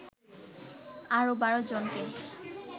আরও ১২ জনকে